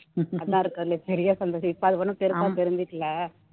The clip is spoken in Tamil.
அதான் இருக்குறதுலயே பெரிய சந்தோஷம் இப்போ அது ஒண்ணும் பெருசா தெரிஞ்சுக்கல